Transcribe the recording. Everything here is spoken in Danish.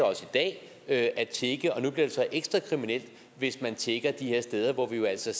også i dag at tigge og nu bliver det så ekstra kriminelt hvis man tigger de her steder hvor vi altså